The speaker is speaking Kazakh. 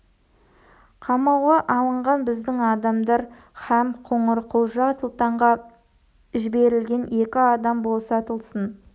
қамауға алынған біздің адамдар һәм қоңырқұлжа сұлтанға жіберілген екі адам босатылсын